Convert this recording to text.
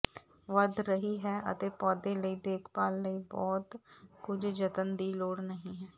ਵਧ ਰਹੀ ਹੈ ਅਤੇ ਪੌਦੇ ਲਈ ਦੇਖਭਾਲ ਲਈ ਬਹੁਤ ਕੁਝ ਜਤਨ ਦੀ ਲੋੜ ਨਹੀ ਹੈ